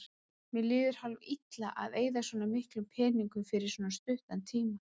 Mér líður hálf-illa að eyða svona miklum peningum fyrir svo stuttan tíma.